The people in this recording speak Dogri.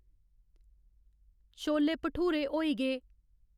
छोले भठूरे होई गे